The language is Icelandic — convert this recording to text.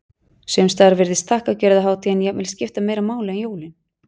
Sums staðar virðist þakkargjörðarhátíðin jafnvel skipta meira máli en jólin.